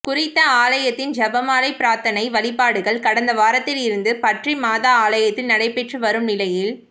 குறித்த ஆலயத்தின் செபமாலை பிரார்த்தனை வழிபாடுகள் கடந்த வாரத்தில் இருந்து பற்றிமாதா ஆலயத்தில் நடைபெற்று வரும் நிலையில்